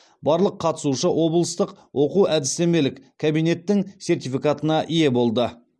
барлық қатысушы облыстық оқу әдістемелік кабинеттің сертификатына ие болды